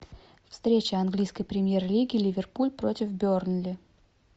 встреча английской премьер лиги ливерпуль против бернли